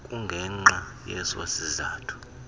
kungenxa yeso sizathu